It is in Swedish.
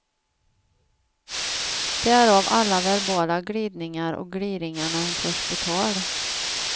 Därav alla verbala glidningar och gliringar när hon förs på tal.